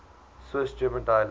swiss german dialects